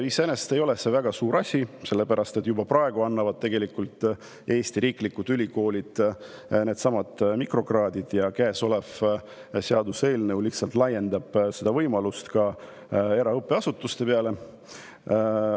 See ei ole küll väga suur asi, sellepärast et juba praegu annavad Eesti riiklikud ülikoolid neidsamu mikrokraade ja käesolev seaduseelnõu lihtsalt laiendab seda võimalust ka eraõppeasutustele.